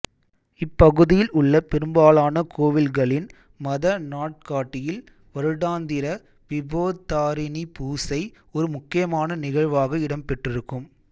இப்பகுதியில் உள்ள பெரும்பாலான கோவில்களின் மத நாட்காட்டியில் வருடாந்திர விபோத்தாரிணிபூசை ஒரு முக்கியமான நிகழ்வாக இடம் பெற்றிருக்கும்